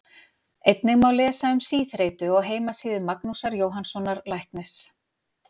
einnig má lesa um síþreytu á heimasíðu magnúsar jóhannssonar læknis